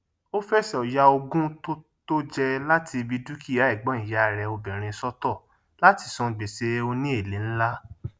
ó fẹsọ ya ogún tó tó jẹ láti ibi dúkìá ẹgbọn ìyá rẹ obìnrin sọtọ látí san gbèsè òní èlé nlá